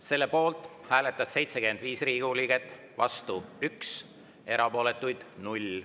Selle poolt hääletas 75 Riigikogu liiget, vastu 1, erapooletuid 0.